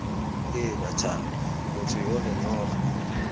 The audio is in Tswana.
heela thando motho yole noga